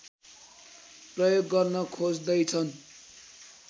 प्रयोग गर्न खोज्दैछन्